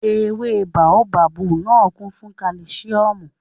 Ewé báóbábù náà kún fún kálísíọ̀mù